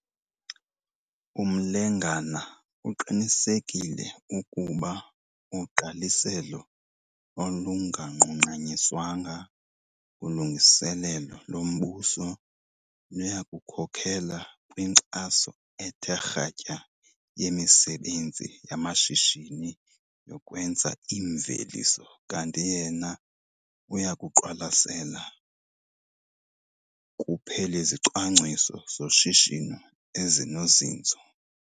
UMlengana uqinisekile ukuba ugqaliselo olunganqunqanyiswanga kulungiselelo lombuso luya kukhokelela kwinkxaso ethe kratya yemisebenzi yamashishini yokwenza iimveliso kanti yena uya kuqwalasela kuphela 'izicwangciso zoshishino ezinozinzo'.